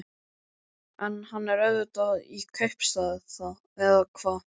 En hann er auðvitað í kaupstað. eða hvað?